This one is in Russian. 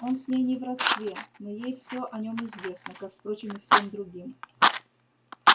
он с ней не в родстве но ей всё о нём известно как впрочем и всем другим